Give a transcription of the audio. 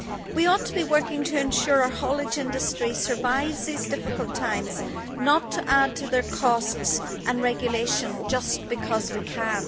We ought to be working to ensure our haulage industry survives these difficult times, not to add to their costs and regulation just because we can.